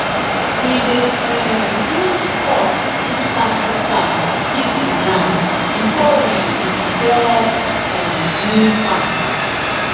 we dey um use cock do sacrifice give the land before we um clear um new farm